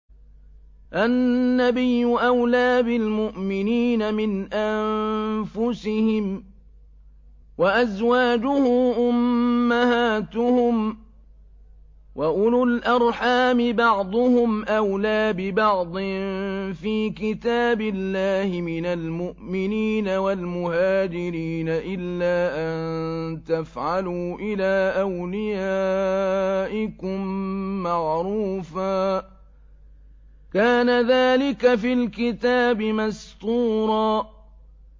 النَّبِيُّ أَوْلَىٰ بِالْمُؤْمِنِينَ مِنْ أَنفُسِهِمْ ۖ وَأَزْوَاجُهُ أُمَّهَاتُهُمْ ۗ وَأُولُو الْأَرْحَامِ بَعْضُهُمْ أَوْلَىٰ بِبَعْضٍ فِي كِتَابِ اللَّهِ مِنَ الْمُؤْمِنِينَ وَالْمُهَاجِرِينَ إِلَّا أَن تَفْعَلُوا إِلَىٰ أَوْلِيَائِكُم مَّعْرُوفًا ۚ كَانَ ذَٰلِكَ فِي الْكِتَابِ مَسْطُورًا